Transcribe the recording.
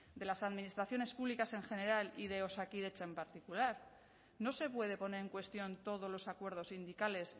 de las administraciones públicas en general y de osakidetza en particular no se puede poner en cuestión todos los acuerdos sindicales